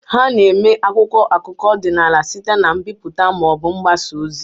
A na-eme akwụkwọ akụkọ ọdịnala site na mbipụta ma ọ bụ mgbasa ozi.